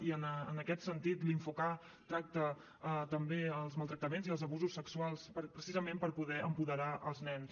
i en aquest sentit l’infok tracta també els maltractaments i els abusos sexuals precisament per poder apoderar els nens